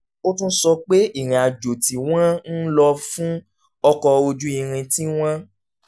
ó tún sọ pé ìrìn àjò tí wọ́n ń lò fún ọkọ̀ ojú irin tí wọ́n